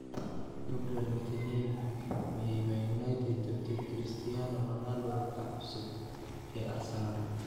Gabriel Martinelli: “Miyay Man United tabtay ‘Cristiano Ronaldo-ka cusub ee Arsenal’?